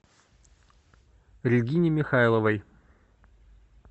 регине михайловой